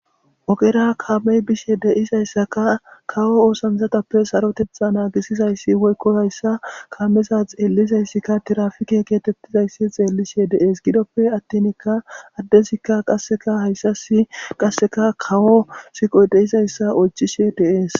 ogera kamey bishe deizayssaka kawo oosansatappe sarotetha naagisizayssi woykko hayssa kameza xeellizayssikka tirafike keetettizayssi xeellishe de7ees gidoppe attinikka addezikka qasseka hayssasi qasseka kawo siqoy deizayssa oychishe deees